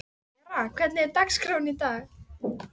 Vera, hvernig er dagskráin?